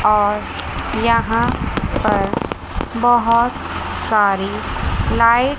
और यहां पर बोहोत सारी लाइट --